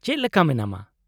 -ᱪᱮᱫ ᱞᱮᱠᱟ ᱢᱮᱱᱟᱢᱟ ?